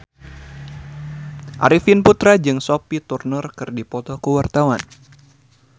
Arifin Putra jeung Sophie Turner keur dipoto ku wartawan